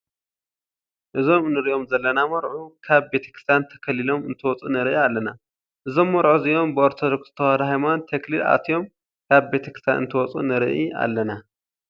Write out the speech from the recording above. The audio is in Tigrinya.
እዞም እንሪኦም ዘለና መርዑ ካብ ቤተክርስትያን ተከሊሎም እንትወፁ ንርኢ ኣለና። እዞም መርዑ እዚኦም ብኦርተዶክስ ተዋህዶ ሃይማኖት ተክሊል ኣትዮም ካብ ቤተክርስይትያን እንትወፁ ንርኡ ኣለና።